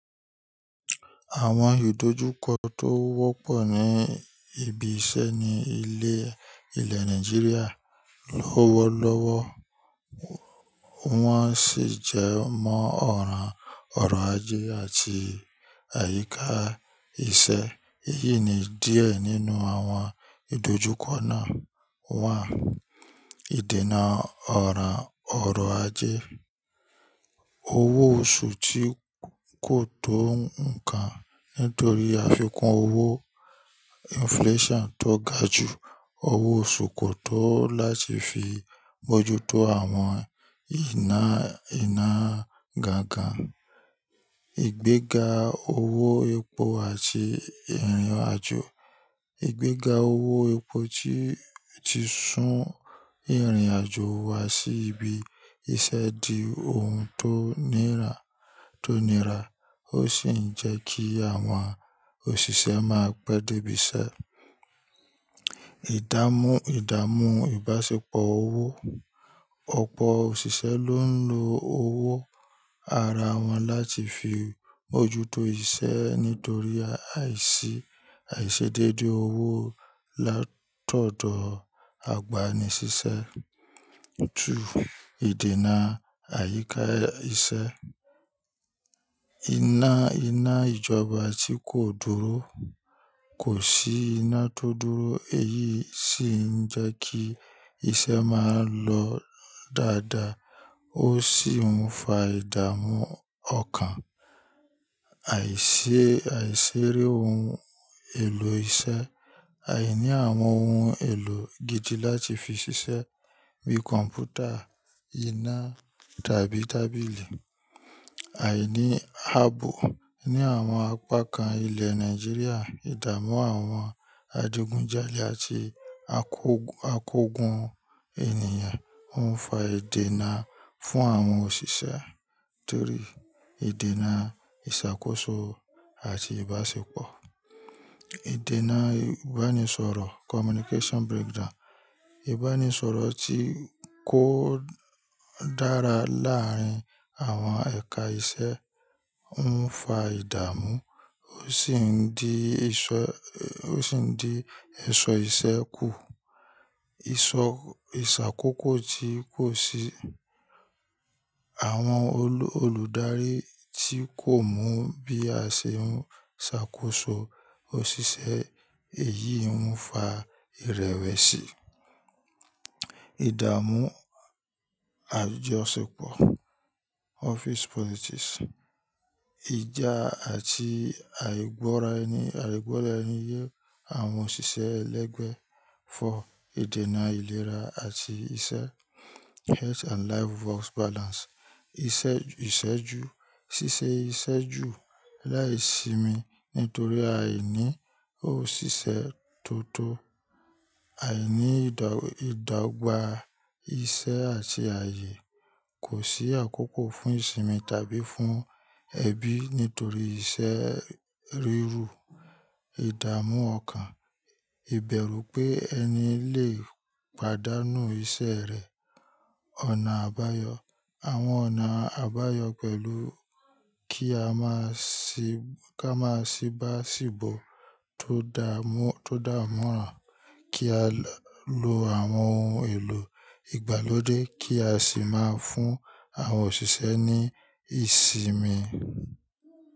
Àwọn ìdójúkọ tó wọ́pọ̀ ní ibi iṣẹ́ ní ilẹ̀ ilẹ̀ Nàìjíríà lówólọ́wọ́ wọ́n sì jẹ mọ́ ọ̀rọ̀ ọrọ̀ ajé àti àyíká iṣẹ́. Èyí ni díẹ̀ nínú àwọn ìdójúkọ náà. Ìdènà ọ̀rọ̀ ọrọ̀ ajé. Owó oṣù tí kò tó nǹkan nítorí àfikún owó inflation tó ga jù. Owó oṣù kò tó láti fi mójútó àwọn ìná ìná gángan. Ìgbéga owó epo àti ìrìnàjò. Ìgbéga owó epo tí ti sún ìrìnàjò wa sí ibi iṣẹ́ di ohun tó nira tó nira ó sì ń jẹ́ kí àwọn òṣìṣẹ́ máa pẹ́ dé ibi iṣẹ́. Ìdámú ìdámú ìbáṣepọ̀ owó. Ọ̀pọ̀ òṣìṣẹ́ ló ń lo owó ara wọn láti fi mójútó iṣẹ́ nítorí àìsí àìṣedédé owó látọ̀dọ̀ àgbàni-síṣẹ́. Ju ìdènà àyíká iṣẹ́. Iná iná ìjọba tí kò dúró. Kò sí iná tó dúró èyí sì ń jẹ́ kí iṣẹ́ máa lọ dáadáa ó sì ń fa ìdàmú ọkàn. Àìṣe àìṣeré ohun èlò iṣẹ́. Àìní àwọn ohun èlò gidi láti fi ṣiṣẹ́ bíi kọ̀m̀pútà, iná tàbí tábìlì. Àìní ààbò ní àwọn apá kan ilẹ̀ Nàìjíríà ìdámú àwọn adigunjalè àti akógun akógun ènìyàn ń fa ìdènà fún àwọn òṣìṣẹ́ nítorí ìdènà ìṣàkóso àti ìbáṣepọ̀. Ìdènà ìbánisọ̀rọ̀ communication breakdown. Ìbánisọ̀rọ̀ tí kò dára láàárín àwọn ẹ̀ka iṣẹ́ ń fa ìdàmú ó sì ń di ìṣọ́ ó sì ń di èṣọ́ iṣẹ́ kù. Ìṣọ́ ìṣàkóso tí kò sí. Àwọn olo, olùdarí tí kò mọ̀ bí a ṣe ń ṣàkóso òṣìṣẹ́ èyí ń fa ìrẹ̀wẹ̀sì. Ìdàmú àjosepọ̀ office politics. Ìjà àti àìgbọ́ra ẹni àìgbọ́ra ẹni yé àwọn òṣìṣẹ́ ẹlẹ́gbẹ̀ẹ́. Fo ìdènà ìlera àti iṣẹ́ health and life work balance. Iṣẹ́ ìṣẹ́ ju ṣíṣe iṣẹ́ jù láìsimi nítorí àìní òṣìṣẹ́ tó tó. Àìní ìdọ̀ ìdọ́gba iṣẹ́ àti ayé. Kò sí àkókò fún ìsinmi tàbí fún ẹbí nítorí iṣẹ́ rírú. Ìdàmú ọkàn. Ìbẹ̀rù pé ẹni lè pàdánù iṣẹ́ rẹ̀. Ọ̀nà àbáyọ. Àwọn ọ̀nà àbáyọ pẹ̀lú kí a máa sì ká máa sì bá ṣìbọ̀ tó dà mú tó dà mọ́ra, kí á lo lo àwọn ohun èlò ìgbàlódé kí a sì máa fún àwọn òṣìṣẹ́ ní ìsinmi.